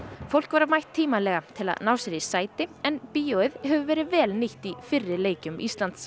fólk var mætt tímalega til að ná sér í sæti en bíóið hefur verið vel nýtt í fyrri leikjum Íslands